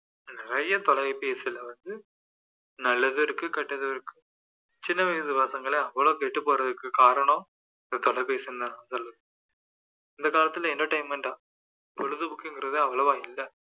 நிறைய தொலைபேசில வந்து நல்லதும் இருக்கு கெட்டதும் இருக்கு சின்ன வயசு பசங்களே அவ்வளோ கெட்டுபோறதுக்கு காரணம் இந்த தொலைபேசிதான் முதல்ல இந்த காலத்துல entertainment ஆ பொழுதுபோக்குங்கிறதே அவ்வளவா இல்லை